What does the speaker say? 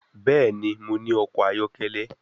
Bẹ́ẹ̀ni, mo ní ọkọ̀ ayọ́kẹ́lẹ́